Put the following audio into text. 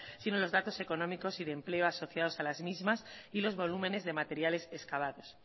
sino los datos económicos y de empleo asociados a las mismas y los volúmenes de materiales escavados